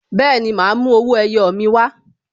Bẹẹni, ma a mú owó ẹyọ mi wa